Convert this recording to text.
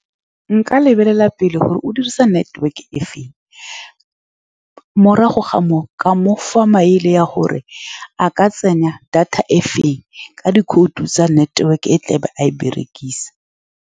Nka lebelela pele gore o dirisa network-e e feng, morago ga moo, ka mo fa maele a gore o ka tsenya data e feng ka dikhoutu tsa network-e, o tlabe a e berekisa.